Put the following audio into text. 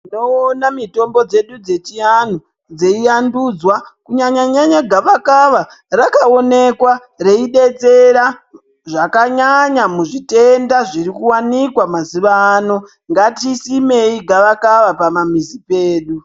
Tinoona mitombo dzedu dzechiantu dzeivandudzwa kunyanyanya gavakava rakaonekwa reibetsera zvakanyanya muzvitenda zvirikuwanikwa mazuva ano ngatisimei gavakava mumamizi medu .